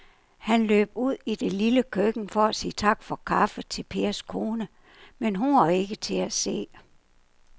Han løb ud i det lille køkken for at sige tak for kaffe til Pers kone, men hun var ikke til at se.